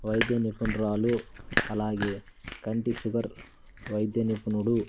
వైద్య నిపుణురాలు అలాగే కంటి షుగర్ వైద్య నిపుణుడు--